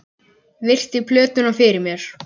Ég virti plötuna fyrir mér.